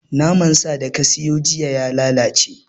Naman sa da ka siyo jiya ya lalace